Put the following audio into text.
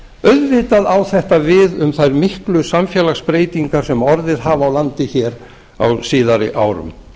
auðvitað á þetta við um þær miklu samfélagsbreytingar sem orðið hafa á landi hér á síðari árum